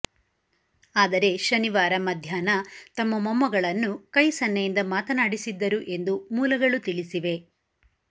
ಆದರೆ ಶನಿವಾರ ಮಧ್ಯಾಹ್ನ ತಮ್ಮ ಮೊಮ್ಮಗಳನ್ನು ಕೈ ಸನ್ನೆಯಿಂದ ಮಾತನಾಡಿಸಿದ್ದರು ಎಂದು ಮೂಲಗಳು ತಿಳಿಸಿವೆ